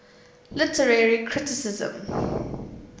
literary criticism